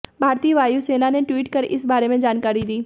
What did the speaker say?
भारतीय वायु सेना ने ट्वीट कर इस बारे में जानकारी दी